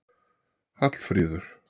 Hallfríður